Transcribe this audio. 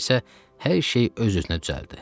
Sonra isə hər şey öz-özünə düzəldi.